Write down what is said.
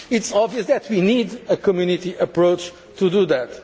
manner? It is obvious that we need a Community approach